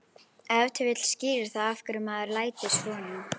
Ef til vill skýrir það af hverju maðurinn lætur svona.